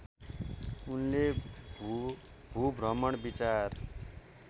उनले भूभ्रमण विचार